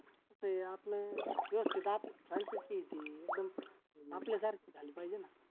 कसं होतंय आपलं व्यवस्थित आपलं franchise आहे ती एकदम आपल्यासारखी झाली पाहिजे ना